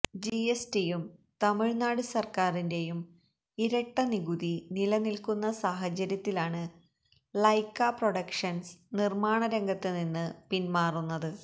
GST യും തമിഴ് നാട് സര്ക്കാരിന്റെയും ഇരട്ട നികുതി നിലനില്ക്കുന്ന സാഹചര്യത്തിലാണ് ലൈക്കാ പ്രൊഡക്ഷന്സ് നിര്മ്മാണ രംഗത്ത് നിന്ന് പിന്മാറുന്നത്